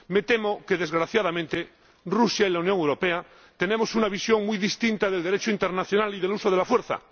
Me temo que, desgraciadamente, Rusia y la Unión Europea tienen una visión muy distinta del Derecho internacional y del uso de la fuerza.